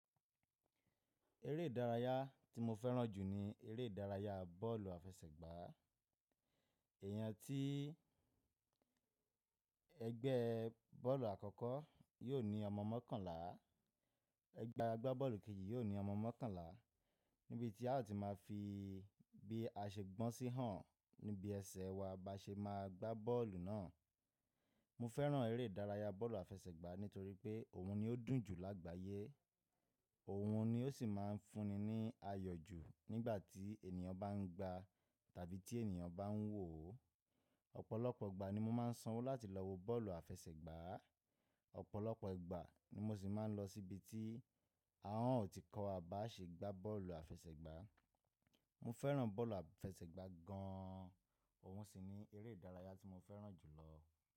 Eré ìdárayá tí mo fẹ́ràn jù ni eré ìdárayá bọ́ọ̀lù àfẹsẹ̀gbá. Èèyàn tí ẹgbẹ́ bọ́ọ̀lù àkọ́kọ́ yóò ní ọmọ mọ́kànlá, ẹgbẹ́ agbábọ́ọ̀lù kejì yóò ní ọmọ mọ́kànlá. Níbi tí a ó ti máa fi bí a ṣe gbọ́n sí hàn níbi ẹsẹ̀ wa bá ṣe máa gbá bọ́ọ̀lù náà. Mo fẹ́ràn eré ìdárayá bọ́ọ̀lù àfẹsẹ̀gbá nítorí pé òun ni ó dùn jù lágbàyé, òun ni ó sì máa ń fúnni ní ayọ̀ jù nígbà tí ènìyàn bá ń gba tàbí tí ènìyàn bá ń wò ó. Ọ̀pọ̀lọpọ̀ ìgbà ni mo máa ń sanwó láti lọ wo bọ́ọ̀lù àfẹsẹ̀gbá, ọ̀pọ̀lọpọ̀ ìgbà ni mo sì máa ń lọ síbi tí a ò tí kọ́ wa bá ṣe gbá bọ́ọ̀lù àfẹsẹ̀gbá. Mo fẹ́ràn bọ́ọ̀lù àfẹsẹ̀gbá gan an, òun sì ni eré ìdárayá tí mo fẹ́ràn jù lọ.